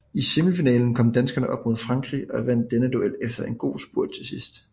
I semifinalen kom danskerne op mod Frankrig og vandt denne duel efter en god spurt til sidst